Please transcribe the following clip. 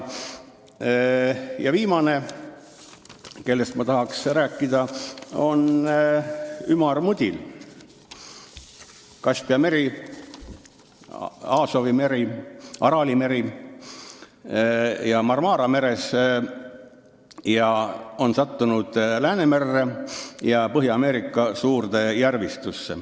Viimane, kellest ma tahaks rääkida, on ümarmudil, kes on sattunud Läänemerre ja Põhja-Ameerika suurde järvistusse Kaspia merest, Aasovi merest, Araali merest ja Marmara merest.